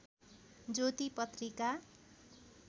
ज्योति पत्रिका